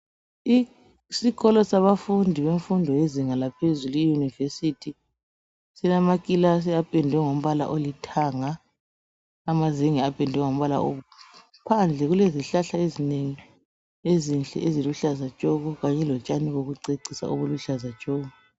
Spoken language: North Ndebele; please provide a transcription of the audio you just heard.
Isikolo sabafundi bemfundo yezinga laphezulu iuniversity silama kilasi apendwe ngombala olithanga amazenge apendwe ngombala obomvu phandle kulezihlahla ezinengi ezinhle eziluhlaza tshoko kanye lotshani bokucecisa obuluhlaza tshoko.